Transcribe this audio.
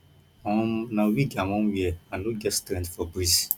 um na wig i wan wear i no get strength for breeze